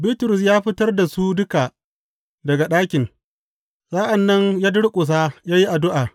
Bitrus ya fitar da su duka daga ɗakin; sa’an nan ya durƙusa ya yi addu’a.